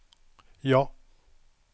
ja